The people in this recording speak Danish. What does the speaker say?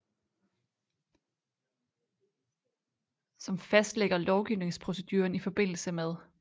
Som fastlægger lovgivningsproceduren ifm